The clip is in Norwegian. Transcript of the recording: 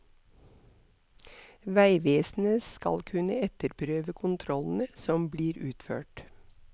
Veivesenet skal kunne etterprøve kontrollene som blir utført.